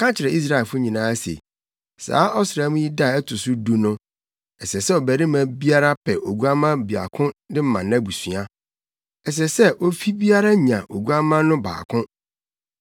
Ka kyerɛ Israelfo nyinaa se, saa ɔsram yi da a ɛto so du no, ɛsɛ sɛ ɔbarima biara pɛ oguamma baako de ma nʼabusua. Ɛsɛ sɛ ofi biara nya oguamma no baako.